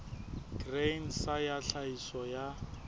grain sa ya tlhahiso ya